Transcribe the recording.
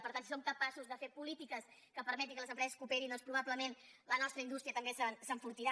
per tant si som capaços de fer polítiques que permetin que les empreses cooperin doncs probablement la nostra indústria també s’enfortirà